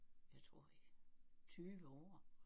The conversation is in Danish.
Jeg tror i 20 år